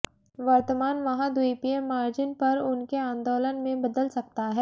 वर्तमान महाद्वीपीय मार्जिन पर उनके आंदोलन में बदल सकता है